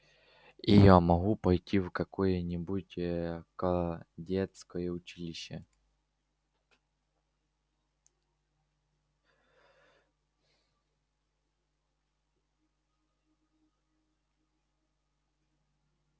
и я могу пойти в какое-нибудь кадетское училище